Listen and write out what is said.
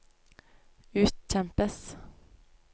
utkjempes